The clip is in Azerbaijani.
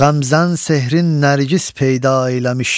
Ğəmzən sehrin nərgiz peyda eyləmiş.